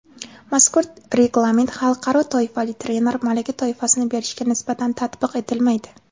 Mazkur reglament "Xalqaro toifali trener" malaka toifasini berishga nisbatan tatbiq etilmaydi.